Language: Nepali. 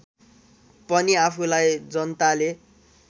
पनि आफूलाई जनताले